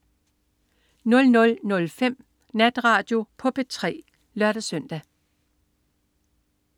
00.05 Natradio på P3 (lør-søn)